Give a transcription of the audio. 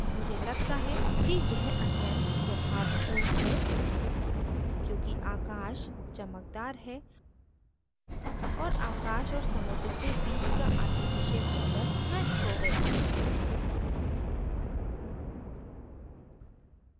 मुझे लगता है कि यह अत्यन्त यथार्थपूर्ण है क्योंकि आकाश चमकदार है और आकाश और समुद्र के बीच का artificial border नष्ट हो गया है